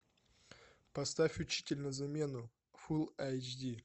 поставь учитель на замену фул айч ди